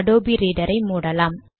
Adobe Reader ஐ மூடலாம்